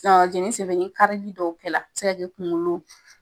Jɛneni sen fɛ, kalali dɔw kɛra a bɛ se ka kɛ kunkolo.